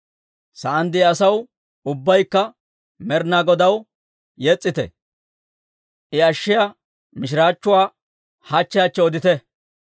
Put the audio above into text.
Sa'aan de'iyaa asaw, ubbaykka Med'inaa Godaw yes's'ite; I ashshiyaa mishiraachchuwaa hachche hachche odite.